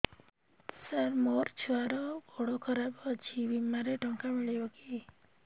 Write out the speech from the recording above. ସାର ମୋର ଛୁଆର ଗୋଡ ଖରାପ ଅଛି ବିମାରେ ଟଙ୍କା ମିଳିବ କି